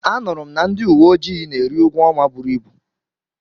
Anụrụ m na ndị uwe ojii na-eri ụgwọ ọnwa buru ibu.